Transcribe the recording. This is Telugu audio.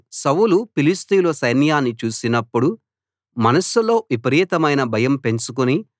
సౌలు ఫిలిష్తీయుల సైన్యాన్ని చూసినపుడు మనస్సులో విపరీతమైన భయం పెంచుకుని